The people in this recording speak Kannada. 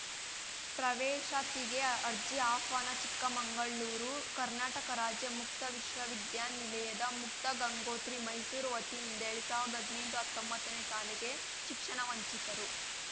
ಪ್ರವೇಶಾತಿಗೆ ಅರ್ಜಿ ಆಹ್ವಾನ ಚಿಕ್ಕಮಂಗಳೂರು ಕರ್ನಾಟಕ ರಾಜ್ಯ ಮುಕ್ತ ವಿಶ್ವವಿದ್ಯಾನಿಲಯದ ಮುಕ್ತಗಂಗೋತ್ರಿ ಮೈಸೂರು ವತಿಯಿಂದ ಎಲ್ಡ್ ಸಾವ್ರ್ದ ಹದ್ನೆಂಟುಅತ್ತೊಂಬತ್ತನೇ ಸಾಲಿಗೆ ಶಿಕ್ಷಣವಂಚಿತರು